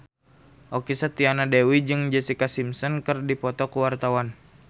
Okky Setiana Dewi jeung Jessica Simpson keur dipoto ku wartawan